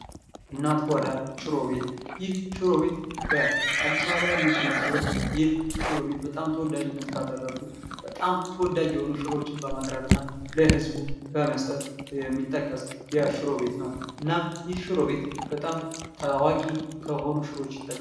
እናት ጓዳ ሽሮ ቤት፡- ይህ ሽሮ ቤት በአዲስ አበባ የሚገኝ ሲሆን ፤ ይህ ሽሮ ቤት በጣም ተወዳጅነት ካተረፉ፥ በጣም ተወዳጅ የሆኑ ሽሮዎችን በማቅረብ እና ለህዝቡ በመስጠት የሚጠቀስ የሽሮ ቤት ነው። እና ይህ ሽሮ ቤት በጣም ታዋቂ ከሆነች ይጠቀሳል።